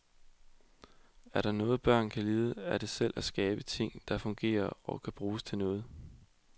Er der noget børn kan lide, er det selv at skabe ting, der fungerer, og kan bruges til noget.